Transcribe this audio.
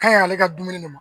Ka ɲi ale ka dumuni ne ma